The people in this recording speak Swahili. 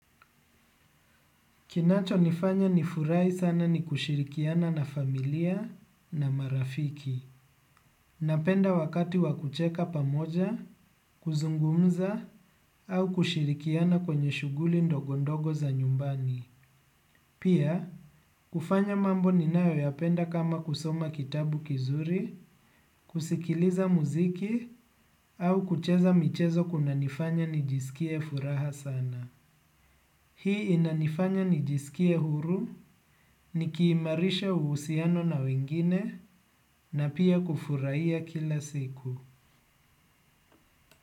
Kinachonifanya nifurai sana ni kushirikiana na familia na marafiki. Napenda wakati wa kucheka pamoja, kuzungumza, au kushirikiana kwenye shughuli ndogo ndogo za nyumbani. Pia, kufanya mambo ninayoyapenda kama kusoma kitabu kizuri, kusikiliza muziki, au kucheza michezo kuna nifanya nijisikie furaha sana. Hii inanifanya nijisikie huru, nikiimarisha uhusiano na wengine, na pia kufurahia kila siku.